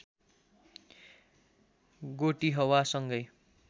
गोटिहवा सँगै